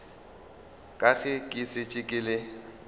ka ge ke šetše ke